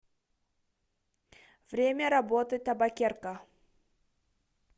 время работы табакерка